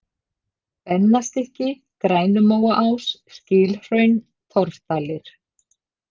Bennastykki, Grænumóaás, Skilhraun, Torfdalir